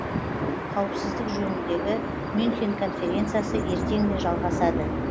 қауіпсіздік жөніндегі мюнхен конференциясы ертең де жалғасады